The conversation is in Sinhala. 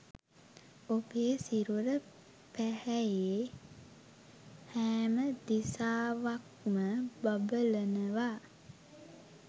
ඔබේ සිරුර පැහැයේ හැම දිසාවක්ම බබලනවා.